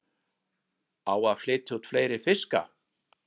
Á að flytja út fleiri fiska